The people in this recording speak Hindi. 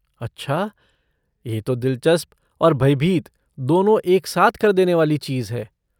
अच्छा, ये तो दिलचस्प और भयभीत दोनों एक साथ कर देने वाली चीज़ है।